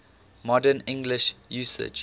modern english usage